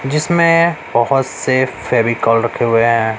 जीसमें बहोत से फेविकोल रखे हुए है।